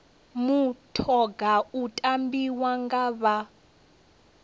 mutoga u tambiwa nga vha